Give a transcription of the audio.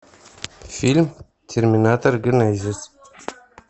фильм терминатор генезис